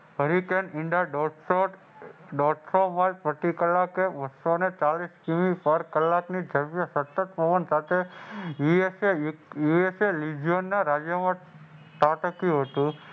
બે હજાર વીસના હરિકેન દોઢસો પછી કલાકે બસોને ચાલીસ સતત પવન સાથે